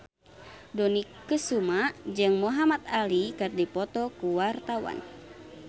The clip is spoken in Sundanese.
Dony Kesuma jeung Muhamad Ali keur dipoto ku wartawan